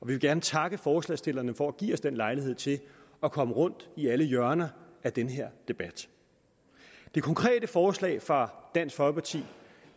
vil gerne takke forslagsstillerne for at give os den lejlighed til at komme rundt i alle hjørner af den her debat det konkrete forslag fra dansk folkeparti